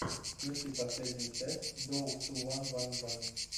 включи последнюю часть доуп ту ван ван ван